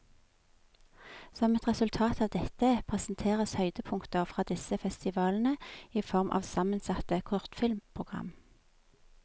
Som et resultat av dette, presenteres høydepunkter fra disse festivalene i form av sammensatte kortfilmprogram.